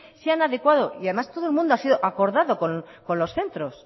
se han adecuado y además todo el mundo ha sido acordado con los centros